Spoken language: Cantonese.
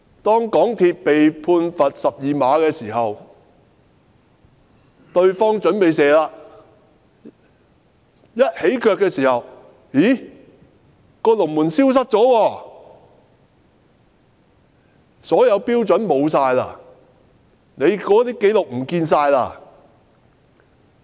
當港鐵公司被判罰12碼，對方準備起腳射球的時候，發現龍門消失了，所有標準都不見了，紀錄全部消失。